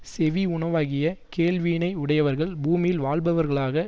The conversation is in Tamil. செவி உணவாகிய கேள்வியினையுடையவர்கள் பூமியில் வாழ்பவர்களாக